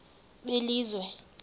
belizwe